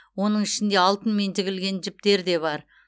оның ішінде алтынмен тігілген жіптер де бар